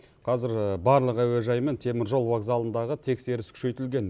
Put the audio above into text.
қазір барлық әуежай мен теміржол вокзалындағы тексеріс күшейтілген